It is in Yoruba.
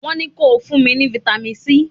Wón ní ko fún mi ní Fitami C!